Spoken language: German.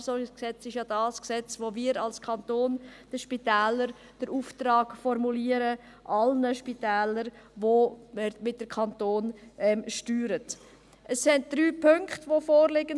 Das SpVG ist das Gesetz, in welchem wir als Kanton zuhanden der Spitäler, aller Spitäler, die der Kanton steuert, den Auftrag formulieren.